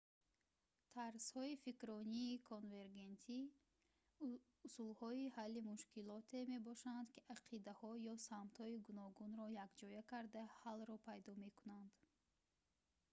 тарзҳои фикрронии конвергентӣ усулҳои ҳалли мушкилоте мебошанд ки ақидаҳо ё самтҳои гуногунро якҷоя карда ҳаллро пайдо мекунанд